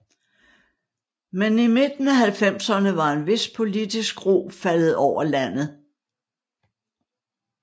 Men i midten af halvfemserne er en vis politisk ro faldet over landet